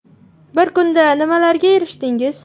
Bir kunda nimalarga erishdingiz ?